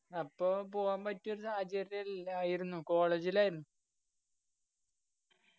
അപ്പൊ പോവാൻ പറ്റിയൊരു സാഹചര്യല്ലായിരുന്നു college ഇലായിരുന്നു